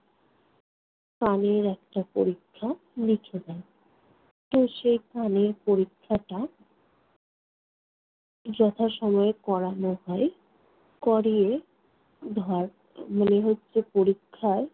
কানের একটা পরীক্ষা লিখে দেন। তো সেখানে পরীক্ষাটা যথাসময়ে করানো হয়। করিয়ে ধর মনে হচ্ছে পরীক্ষায়